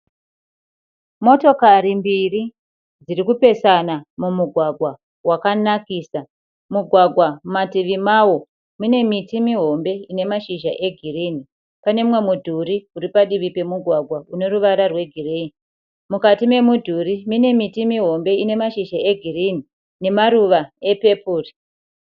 Motokari mbiri dziri kupesana mumugwagwa wakanakisa. Mugwagwa mumativo mawo mune miti mihombe ine mashizha egirini, pane mumwe mudhuri uri padivi remugwagwa une ruvara rwegireyi. Mukati memudhuri mune miti mihombe ine mashizha egirini nemaruva epepuru.